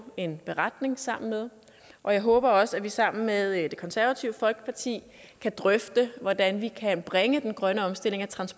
en beretning sammen med og jeg håber også at vi sammen med det konservative folkeparti kan drøfte hvordan vi kan bringe den grønne omstilling af